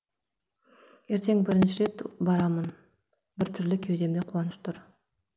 ертең бірінші рет барамын бір түрлі кеудемде қуаныш тұр